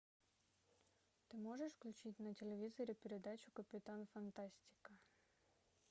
ты можешь включить на телевизоре передачу капитан фантастика